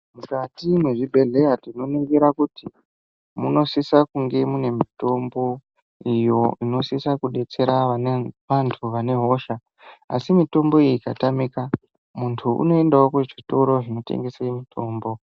Mukati mwezvibhehlera tinoningira kuti munosisa kunge mune mitombo iyo inosisa kudetsera vantu vane hosha asi mitombo iyi ikatamika muntu unoendawo kuzvitoro zvinotengese mitombo.